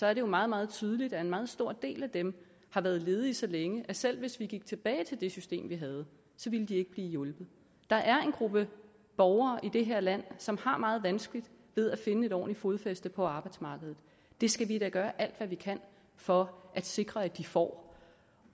er det jo meget meget tydeligt at en meget stor del af dem har været ledige så længe at selv hvis vi gik tilbage til det system vi havde ville de ikke blive hjulpet der er en gruppe borgere i det her land som har meget vanskeligt ved at finde et ordentligt fodfæste på arbejdsmarkedet det skal vi da gøre alt hvad vi kan for at sikre at de får